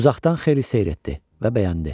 Uzaqdan xeyli seyr etdi və bəyəndi.